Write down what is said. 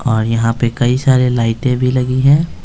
और यहाँ पे कई सारे लाइटें भी लगी हैं।